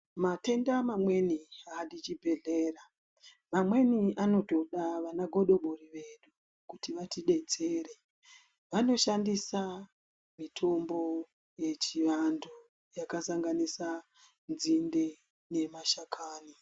Matenda mamweni aadi chibhedhleya, mamweni anotodd vanagodobori vedu kuti vatidetsere vanoshandisa mitombo yechiantu yakasanganisa nzinde nemashakani.